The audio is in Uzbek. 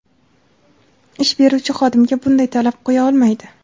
ish beruvchi xodimga bunday talab qo‘ya olmaydi.